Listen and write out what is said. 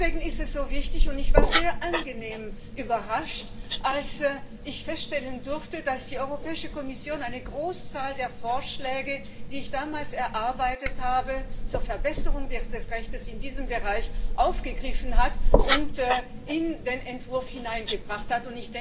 Deswegen war ich sehr angenehm überrascht, als ich feststellen durfte, dass die Europäische Kommission eine Großzahl der Vorschläge, die ich damals erarbeitet habe, zur Verbesserung des Rechts in diesem Bereich aufgegriffen und in den Entwurf hineingebracht hat.